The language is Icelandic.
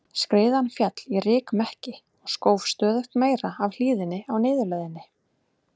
Skriðan féll í rykmekki og skóf stöðugt meira af hlíðinni á niðurleiðinni.